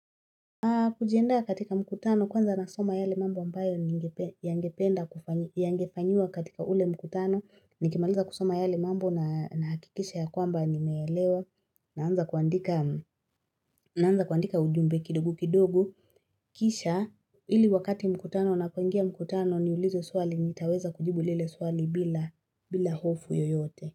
Kujienda katika mkutano kwanza nasoma yale mambo ambayo ningepe yangependa kufanya yangefanyiwa katika ule mkutano. Nikimaliza kusoma yale mambo na nahakikisha ya kwamba nimeelewa naanza kuandika naanza kuandika ujumbe kidogo kidogo Kisha ili wakati mkutano napoingia mkutano niulizwe swali nitaweza kujibu lile swali bila bila hofu yoyote.